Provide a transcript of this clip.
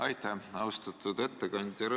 Aitäh, austatud ettekandja!